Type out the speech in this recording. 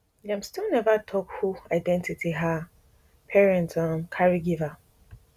dem still neva tok who identity her parents um carry give her